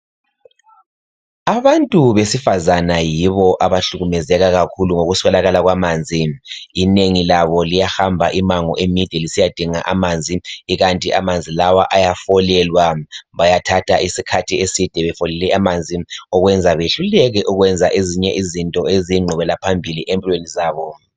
Abantu besifazana yibo abahlukumezeka kakhulu ngokuswelakala kwamanzi. Inengi labo liyahamba imango emide lisiyadinga amanzi ,ikanti amanzi lawa ayafolelwa. Bayathatha isikhathi eside befolele amanzi ,okwenza behluleke ukwenza ezinye izinto eziyingqubekela phambili empilweni zabo.